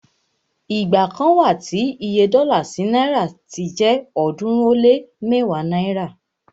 igba kan wa tí Iye dọ́là sí náìrà ti jẹ ọ̀ọ́dúnrún ó lé mẹ́wàá náírà